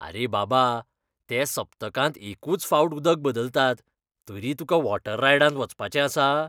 अरे बाबा, ते सप्तकांत एकूच फावट उदक बदलतात, तरी तुका वॉटर रायडांत वचपाचें आसा?